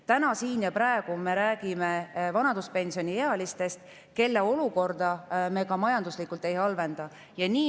Täna, siin ja praegu me räägime vanaduspensioniealistest, kelle olukorda me ka majanduslikult ei halvenda.